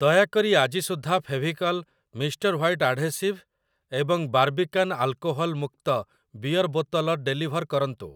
ଦୟାକରି ଆଜି ସୁଦ୍ଧା ଫେଭିକଲ୍ ମିଷ୍ଟର ହ୍ଵାଇଟ୍ ଆଢ଼େସିଭ୍ ଏବଂ ବାର୍ବିକାନ ଆଲକୋହଲ ମୁକ୍ତ ବିୟର୍ ବୋତଲ ଡେଲିଭର୍ କରନ୍ତୁ ।